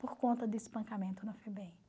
Por conta de espancamento na FEBEM.